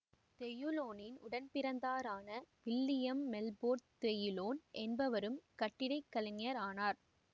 தெயுலோனின் உடன்பிறந்தாரான William Milford Teulon என்பவரும் கட்டிடக்கலைஞர் ஆனார்